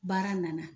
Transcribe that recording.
Baara nana